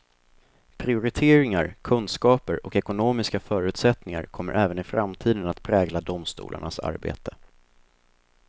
Prioriteringar, kunskaper och ekonomiska förutsättningar kommer även i framtiden att prägla domstolarnas arbete.